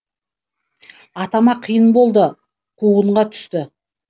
атама қиын болды қуғынға түсті